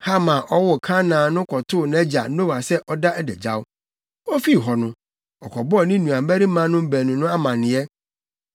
Ham a ɔwoo Kanaan no kɔtoo nʼagya Noa sɛ ɔda adagyaw. Ofii hɔ no, ɔkɔbɔɔ ne nuabarimanom baanu no amanneɛ.